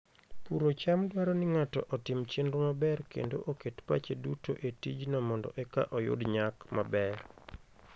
Puro cham dwaro ni ng'ato otim chenro maber kendo oket pache duto e tijno mondo eka oyud nyak maber.